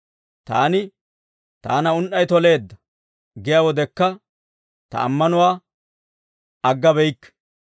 Taani, «Taana un"ay toleedda» giyaa wodekka, ta ammanuwaa aggabeyikke.